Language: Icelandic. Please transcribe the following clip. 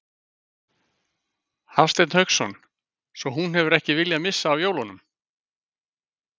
Hafsteinn Hauksson: Svo hún hefur ekki viljað missa af jólunum?